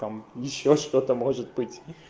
там ещё что-то может быть